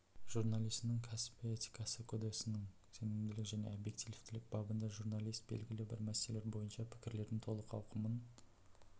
журналисінің кәсби этикасы кодесінің сенімділік және объективтілік бабында журналист белгілі бір мәселелер бойынша пікірлердің толық ауқымын